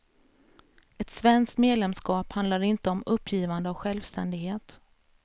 Ett svenskt medlemskap handlar inte om uppgivande av självständighet.